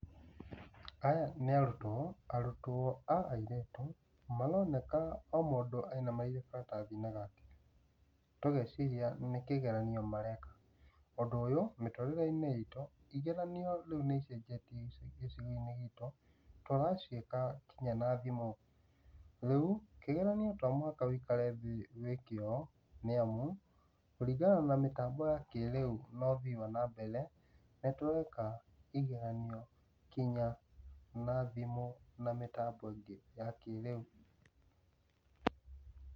Aya nĩ arutwo, arutwo a airĩtu, maroneka o mũndũ e maratathi-inĩ make, tũũgeciria nĩ kĩgeranio mareka. ũndũ ũyũ, mĩũrĩre-inĩ itu nĩ ũcenjetie gĩcigo-inĩ gitũ, tũraciĩka nginya na thimũ, tũraciĩka nginya na thimũ. . Rĩu, Kĩgeranio to mũhaka ũikare thĩ wĩke ũũ nĩamu, kũringana na ũthiĩ wa na mbere na mĩtambo-ino, nĩ tũreka kĩgeranio nginya na thimũ na mĩtambo-inĩ ino ya kĩrĩu.